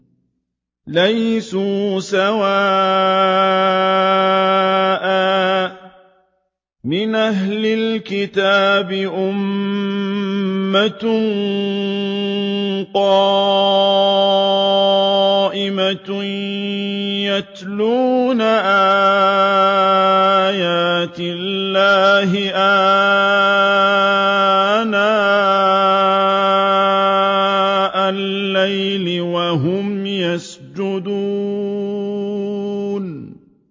۞ لَيْسُوا سَوَاءً ۗ مِّنْ أَهْلِ الْكِتَابِ أُمَّةٌ قَائِمَةٌ يَتْلُونَ آيَاتِ اللَّهِ آنَاءَ اللَّيْلِ وَهُمْ يَسْجُدُونَ